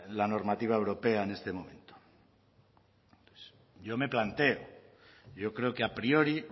la normativa europea en este momento yo me planteo yo creo que a priori